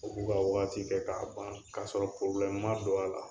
U k'u ka wagati kɛ k'a ban k'a sɔrɔ ma don a la.